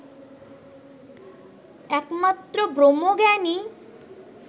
একমাত্র ব্রহ্মজ্ঞানই